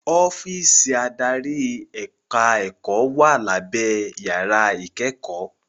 Ọ́físì adarí ẹ̀ka ẹ̀kọ́ wà lábé yàrá ìkẹ́kọ̀ọ́.